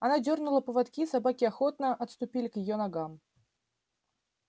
она дёрнула поводки и собаки охотно отступили к её ногам